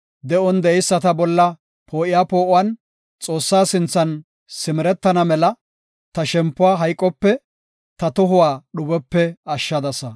De7on de7eyisata bolla poo7iya poo7uwan Xoossaa sinthan simeretana mela, ta shempuwa hayqope, ta tohuwa dhubepe ashshadasa.